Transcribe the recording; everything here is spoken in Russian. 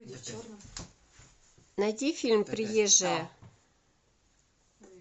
найди фильм приезжая